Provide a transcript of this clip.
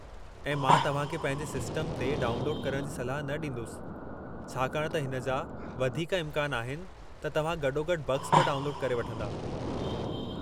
ऐं मां तव्हां खे पंहिंजे सिस्टम ते डाउनलोडु करणु जी सलाह न डीं॒दुसि छाकाणि त हिन जा वधीक इम्कान आहिनि त तव्हां गॾोगॾु बग्स बि डाउनलोडु करे वठंदा।